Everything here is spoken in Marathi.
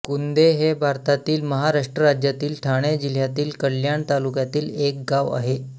कुंदे हे भारतातील महाराष्ट्र राज्यातील ठाणे जिल्ह्यातील कल्याण तालुक्यातील एक गाव आहे